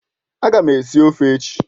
Aga m esi ofe echi